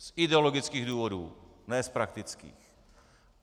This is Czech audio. Z ideologických důvodů, ne z praktických.